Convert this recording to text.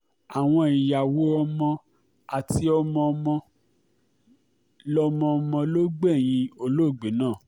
àwọn ìyàwó ọmọ àti ọmọọmọ ló ọmọọmọ ló um gbẹ̀yìn ológbe náà